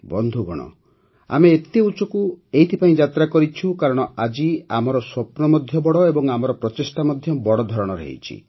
ବନ୍ଧୁଗଣ ଆମେ ଏତେ ଉଚ୍ଚକୁ ଏଥିପାଇଁ ଯାତ୍ରା କରିଛୁ କାରଣ ଆଜି ଆମର ସ୍ୱପ୍ନ ମଧ୍ୟ ବଡ଼ ଏବଂ ଆମର ପ୍ରଚେଷ୍ଟା ମଧ୍ୟ ବଡ଼ ଧରଣର ହୋଇଛି